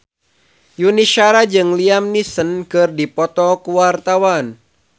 Yuni Shara jeung Liam Neeson keur dipoto ku wartawan